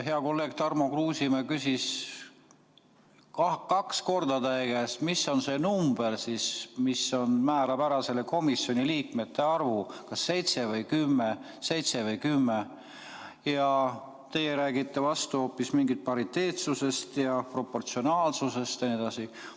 Hea kolleeg Tarmo Kruusimäe küsis kaks korda teie käest, mis on see number, kui suur hakkab olema komisjoni liikmete arv, kas seitse või kümme, aga teie räägite vastu hoopis mingist prioriteetsusest ja proportsionaalsusest jne.